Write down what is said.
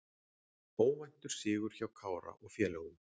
Óvæntur sigur hjá Kára og félögum